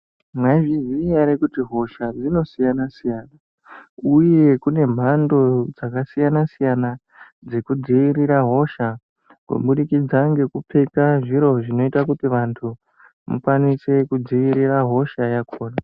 Maizviziya ere kuti hohasha dzinosiyana-siyana, uye kune mhando dzakasiyana-siyana dzekudzivirira hosha. Kubudikidza ngekupfeka zviro zvinoita kuti vantu mukwanise kudzivirira hosha yakona.